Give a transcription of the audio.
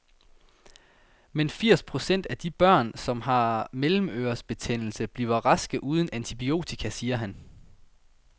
Men firs procent af de børn, som har mellemørebetændelse, bliver raske uden antibiotika, siger han.